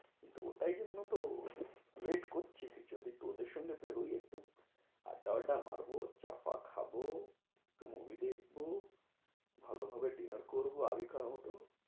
ওটাই জন্য তো wait করছি। যদি তোদের সঙ্গে বেরোই একটু আড্ডা ফাড্ডা মারবো, চা টা খাবো, একটু movie দেখবো, ভালোভাবে dinner করবো, আগেকার মতো।